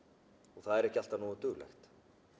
og það er ekki alltaf nógu duglegt